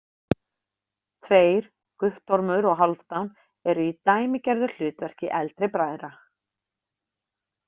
Tveir, Guttormur og Hálfdan, eru í dæmigerðu hlutverki eldri bræðra.